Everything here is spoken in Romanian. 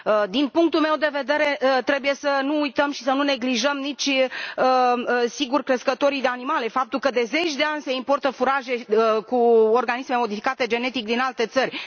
Din punctul meu de vedere, trebuie să nu uităm și să nu neglijăm nici, sigur, crescătorii de animale, faptul că de zeci de ani se importă furaje cu organisme modificate genetic din alte țări.